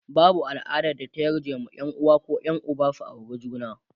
babau al'adar da ta yarje wa Yan uwa koh Yan Uba su aure juna